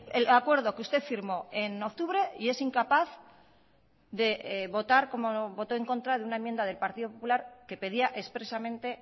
el acuerdo que usted firmó en octubre y es incapaz de votar como votó en contra de una enmienda del partido popular que pedía expresamente